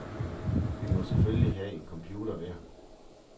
Vi må selfølgelig have en computer hver.